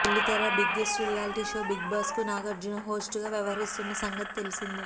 బుల్లితెర biggest reality show Bigg Boss కు Nagarjuna host గా వ్యవహరిస్తున్న సంగతి తెలిసిందే